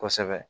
Kosɛbɛ